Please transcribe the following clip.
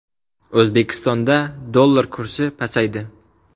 O‘zbekistonda dollar kursi pasaydi.